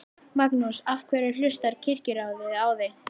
Magnús: Af hverju hlustar Kirkjuráð á þig?